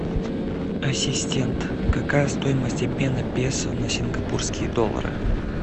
ассистент какая стоимость обмена песо на сингапурские доллары